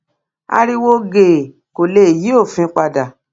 ariwo gèè kò lè yí òfin padà